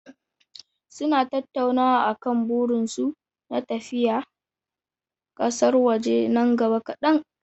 Suna tattaunawa akan burinsu na tafiya kasar waje nan gaba kadan.